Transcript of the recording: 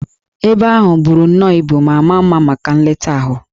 Ebe ahụ buru nnọọ ibu ma maa mma maka nleta ahụ